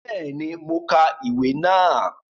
Béèni, mo ka ìwé náà